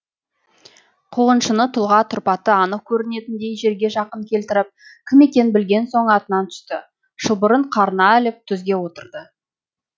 қуғыншыны тұлға тұрпаты анық көрінетіндей жерге жақын келтіріп кім екенін білген соң атынан түсті шылбырын қарына іліп түзге отырды